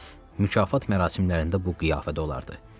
Mükafat mərasimlərində bu qiyafədə olardı.